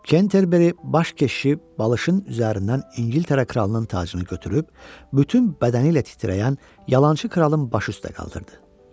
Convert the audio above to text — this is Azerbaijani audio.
Kenterberi baş keşişi balışın üzərindən İngiltərə kralının tacını götürüb bütün bədəni ilə titrəyən yalançı kralın baş üstə qaldırdı.